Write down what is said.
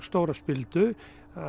stóra spildu